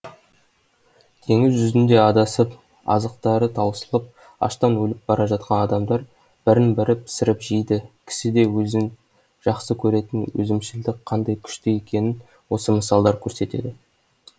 теңіз жүзінде адасып азықтары таусылып аштан өліп бара жатқан адамдар бірін бірі пісіріп жейді кісіде өзін жақсы көретін өзімшілдік қандай күшті екенін осы мысалдар көрсетеді